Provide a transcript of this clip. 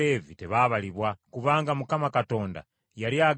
Kubanga Mukama Katonda yali agambye Musa nti,